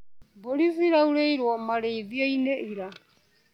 Mbũri ciraurĩirwo marĩithioinĩ ira.